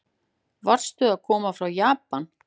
Varstu að koma frá Japan?